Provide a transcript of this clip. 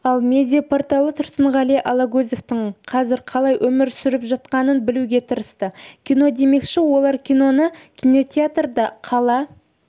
ал медиа-порталы тұрсынғали алагөзовтің қазір қалай өмір сүріп жатқанын білуге тырысты кино демекші олар киноны кинотеатрда қала